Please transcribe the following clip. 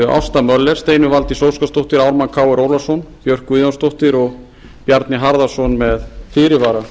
ásta möller steinunn valdís óskarsdóttir ármann krónu ólafsson björk guðjónsdóttir og bjarni harðarson með fyrirvara